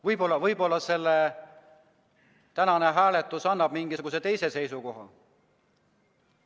Ma ei tea, võib-olla tänane hääletus annab mingisuguse teise seisukoha.